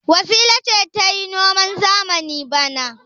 Wasila ce za ta yi noman zamani bana.